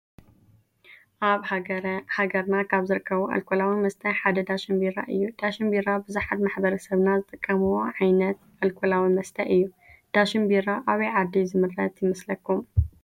አብ ሃገረና ካበ ዝርከቡ አልኮላዊ መስተ ሓደ ዳሽን ቢራ እዩ ።ዳሽን ቢራ ብዛሓት ማሕበረሰብና ዝጥቀሙዎ ዓየነት አልኮላዊ መስተ እዩ። ዳሽን ቢራ አበይ ዓዲ ዝምረት ይመስለኩም?